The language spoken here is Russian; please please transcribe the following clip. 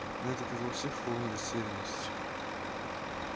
но это привело всех в полную растерянность